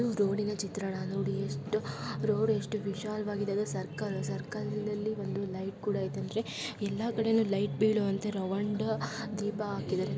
ಇದು ರೋಡಿನ ಚಿತ್ರಣ ನೋಡಿ ಎಷ್ಟ್ ರೋಡ್ ಎಷ್ಟ್ ವಿಶಾಲವಾಗಿದೆ ಅದು ಸರ್ಕಲ್ ಸರ್ಕಲಿ ನಲ್ಲಿ ಒಂದು ಲೈಟ್ ಕೂಡ ಇದೆ ಅಂದ್ರೆ ಎಲ್ಲಾ ಕಡೆನು ಲೈಟ್ ಬೀಳೋವಂತ ರೌಂಡ್ ದೀಪ ಹಾಕಿದ್ದಾರೆ.